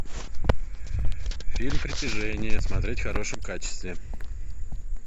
фильм притяжение смотреть в хорошем качестве